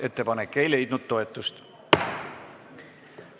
Ettepanek ei leidnud toetust.